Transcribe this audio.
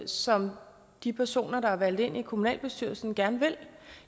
som de personer der er valgt ind i kommunalbestyrelsen gerne vil